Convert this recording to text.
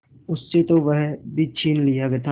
उससे तो वह भी छीन लिया था